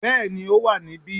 Bẹ́ẹ̀ni ó wà níbí